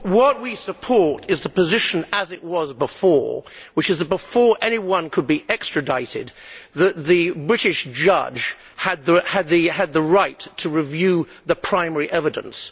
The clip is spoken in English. What we support is the position as it was before, which is that before anyone could be extradited the British judge had the right to review the primary evidence.